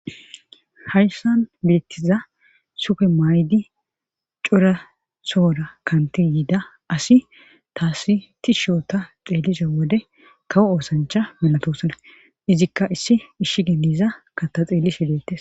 hayssan bettiza supe maydi cora soora kanti yiida asi taasi ti shoota xeelliso wode kawo oosancha milatosona izikka issi ishshi geniza kata xeellishiletes